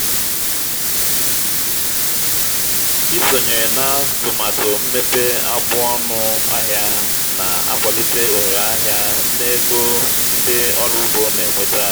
isonye n'atụmatụ mmepe agbụ ọnụ ahịa na-akwalite ohere ahịa na ego ndị ọrụ ugbo na-enweta.